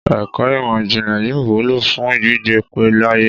Ẹ̀kọ́ ìmò ìjìnlẹ̀ yóò wúlò fún gbígbé pẹ́ láyé.